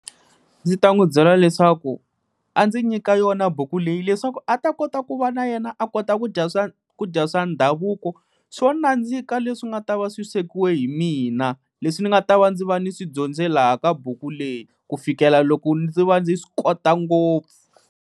Ndzi ta n'wi byela leswaku a ndzi nyika yona buku leyi leswaku a ta kota ku va na yena a kota ku dya ku dya swa ndhavuko swo nandzika, leswi nga ta va swi swekiwe hi mina leswi ndzi nga ta va ndzi va ni swi dyondze laha ka buku leyi ku fikela loko ndzi va ndzi swi kota ngopfu.